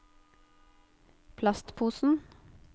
plastposen